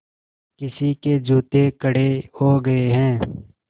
किसी के जूते कड़े हो गए हैं